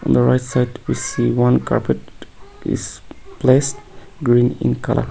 the right side one carpet is placed green in colour.